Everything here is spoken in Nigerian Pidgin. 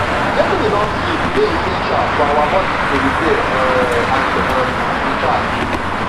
getting enough sleep dey essential for our bodies to repair um and um recharge